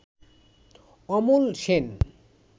Amal Sen